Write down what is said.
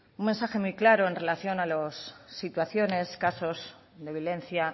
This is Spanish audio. un mensaje muy claro en relación a las situaciones casos de violencia